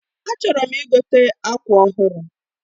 A chọrọm igote akwa ọhụrụ